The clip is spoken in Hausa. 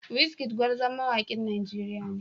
Wizkid gwarzon mawakin Najeriya ne.